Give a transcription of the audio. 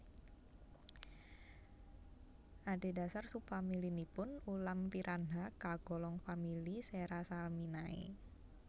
Adhedhasar sub famili nipun ulam piranha kagolong famili Serrasalminae